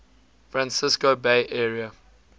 francisco bay area